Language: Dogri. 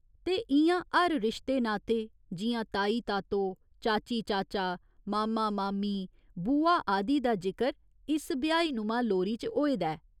ते इ'यां हर रिश्ते नाते, जि'यां ताई तातो, चाची चाचा, मामा मामी, बुआ आदि दा जिकर इस बिहाईनुमां लोरी च होए दा ऐ।